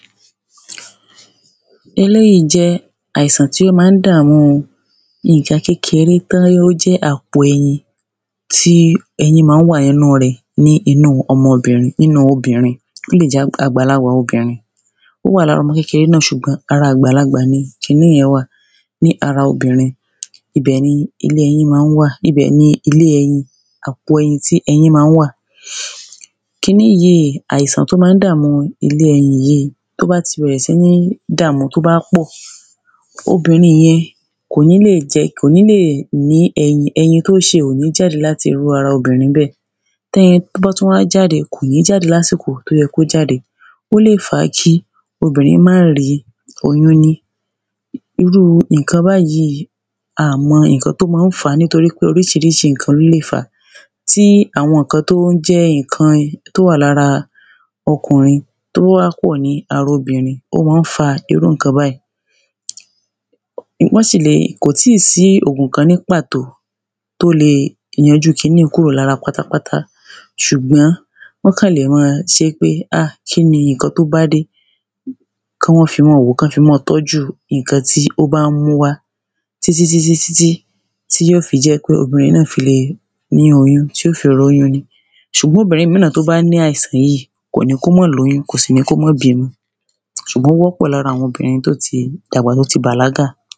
Eléèyí jẹ́ àìsàn tí ó má ń dàámu nǹkan kékeré tán yẹ ó jẹ́ àpò ẹyin tí ẹyin má ń wà ní ẹnu rẹ̀ ní inú ọmọbìnrin ní nú obìnrin ó lè jẹ́ àgbàlagbà obìnrin ó wà lára ọmọdé náà ṣùgbọ́n ara àgbàlagbà ni kiní yẹn wà ní ara obìnrin ibẹ̀ ni ilé ẹyin má ń wà ibẹ̀ ni ilé ẹyin àpò eyin tí ẹyin má ń wà. Kiní àìsàn tó má ń dàámú ilé ẹyin yíì tó bá ti bẹ̀rẹ̀ sí ní dàámú tó bá pọ̀ obìnrin yen kò ní lè jẹ kò ní lè ní ẹyin ẹyin tó ṣe ò ní jáde láti irú ara obìnrin bẹ́ẹ̀ .tẹ́yin bá tún wá jáde kò ní jáde lásìkò tó yẹ kó jáde Ó lè fa kí obìnrin má rí oyún ní. irú nǹkã báyíì a mọ nǹkan tó má ń fàá nítorípé oríṣiríṣi nǹkan ló má ń fàá tí àwọn tó ń jẹ́ nǹkan tó wà lára ọkùnrin tó wá kúrò ní ara obìnrin ó má ń fa irú nǹkan báyìí wọ́n sì le kò tí sí òògùn kan ní pàtó tó le yanjú kini un kúrò lára pátápátá ṣùgbọ́n wọ́n kàn lè má a ṣé pé a kíni nǹkan tó bá dé kí wọ́n fi mọ́ wòó kán fi mọ́ tọ́jú nǹkan tí ó bá ń mú wá títí títí títí tí yó fi jẹ́ kí obìnrin náà fi le ní oyún tí ó fi róyún ní Sùbọ́n obìnrin mí náà tí ó bá ní àìsàn yíì kò ní kó mó lóyún kò sí ní kó mó bímọ ṣùgbọ́n ó wọ́pọ̀ lára àwọn obìnrin tó ti dàgbà tó ti bàlágà.